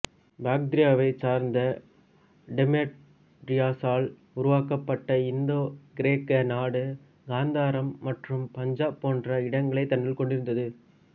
பாக்திரியாவைச் சார்ந்த டெமெட்ரியஸால் உருவாக்கப்பட்ட இந்தோ கிரேக்க நாடு கந்தாரம் மற்றும் பஞ்சாப் போன்ற இடங்களைத் தன்னுள் கொண்டிருந்தது